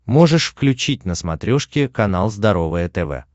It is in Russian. можешь включить на смотрешке канал здоровое тв